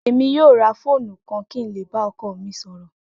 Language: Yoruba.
Emi yoo ra foonu kan ki n le ba ọkọ mi sọrọ.